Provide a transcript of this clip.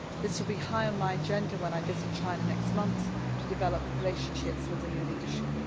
This will be high on my agenda when I visit China next month to develop relationships with the new leadership.